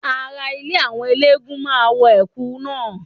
Ara ilé àwọn eléégún máa wọ Ẹ̀kú náà.